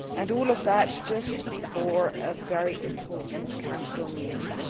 All of that came just before a very important Council meeting.